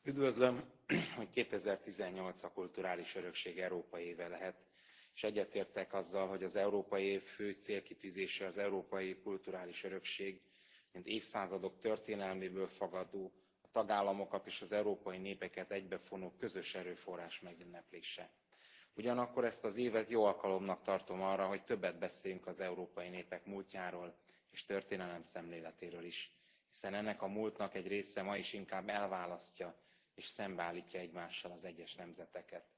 Elnök Asszony, üdvözlöm, hogy 2018 a kulturális örökség európai éve lehet, és egyetértek azzal, hogy az európai év fő célkitűzése az európai kulturális örökség mint évszázadok történelméből fakadó, tagállamokat és az európai népeket egybefonó közös erőforrás megünneplése. Ugyanakkor ezt az évet jó alkalomnak tartom arra, hogy többet beszéljünk az európai népek múltjáról és történelemszemléletéről is, hiszen ennek a múltnak egy része ma is inkább elválasztja, és szembeállítja egymással az egyes nemzeteket.